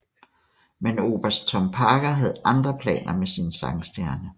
Men Oberst Tom Parker havde andre planer med sin sangstjerne